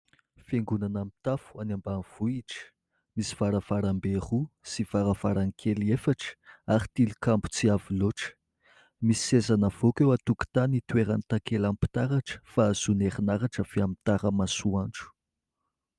Fiangonana mitafo any ambanivohitra, misy varavarambe roa sy varavarankely efatra ary tilikambo tsy avo loatra. Misy seza navoaka eo an-tokotany itoeran'ny takelam-pitaratra fa azon'erinaratra avy amin'ny tara-masoandro.